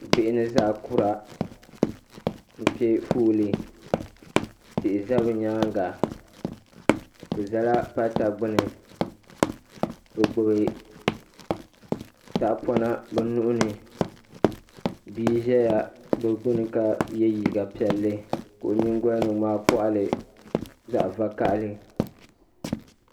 bihi ni zaɣa kura bɛ piɛ foolii tihi za bɛ nyaanga bɛ zala pata gbini bɛ gbibi tahapona bɛ nuhini bia zaya bɛ gbini ka ye liiga piɛlli ka o nyingolini ŋmaagi koɣali zaɣa vakahali.